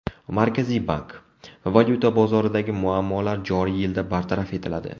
Markaziy bank: Valyuta bozoridagi muammolar joriy yilda bartaraf etiladi.